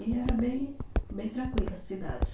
E era bem, bem tranquila a cidade.